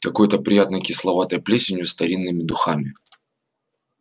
какой-то приятной кисловатой плесенью старинными духами